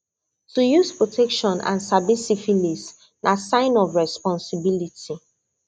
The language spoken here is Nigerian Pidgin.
to use protection and sabi syphilis na sign of responsibility